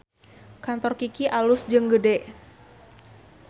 Kantor Kiky alus jeung gede